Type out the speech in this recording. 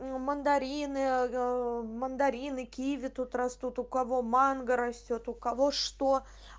мандарины мандарины киви тут растут у кого манго растёт у кого что